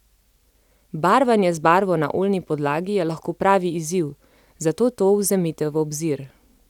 Barvanje z barvo na oljni podlagi je lahko pravi izziv, zato to vzemite v obzir.